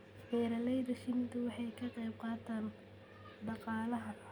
Beeralayda shinnidu waxay ka qayb qaataan dhaqaalaha.